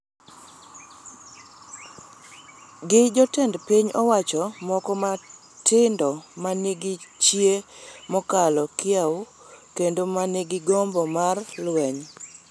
gi jotend piny owacho moko matindo ma nigi chia mokalo kiewo kendo ma nigi gombo mar lweny.